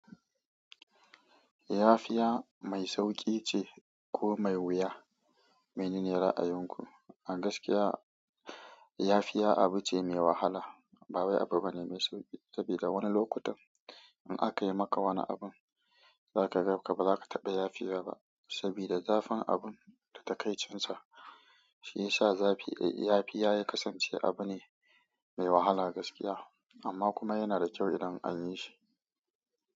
Yafiya mai sauƙi ce ko mai wuya? Menene ra'ayinku? A gaskiya yafiya abu ce mai wahala. Ba wai abu bane mai sauƙi sabida wani lokutan in aka yi maka wani abun za ka ganka ba za ka taɓa yafiya ba. Sabida zafin abun da takaicin sa shi ya sa zafi. Yafiya ya kasance abu ne mai wahala gaskiya amma kuma yana da kyau idan an yi shi.